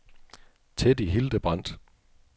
Teddy Hildebrandt